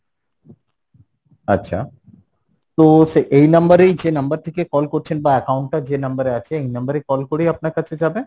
আচ্ছা, তো সে এই number এই যে number থেকে call করছেন বা account টা যে number এ আছে, এই number এ call করেই আপনার কাছে যাবে?